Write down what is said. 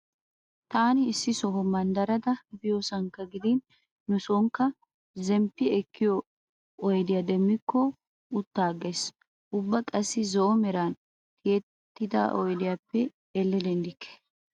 Taani issi soha manddara biyosan gidin nu soonikka zemmppi ekkiyo oydiya demmikko utta aggays. Ubba qassi zo"o meran tiyettida oydiyappe elle denddikke.